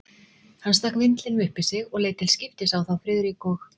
Hann stakk vindlinum upp í sig og leit til skiptis á þá Friðrik og